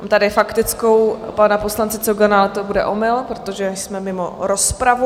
Mám tady faktickou pana poslance Cogana, ale to bude omyl, protože jsme mimo rozpravu.